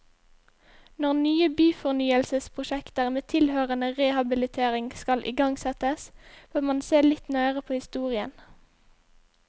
Når nye byfornyelsesprosjekter med tilhørende rehabilitering skal igangsettes, bør man se litt nøyere på historien.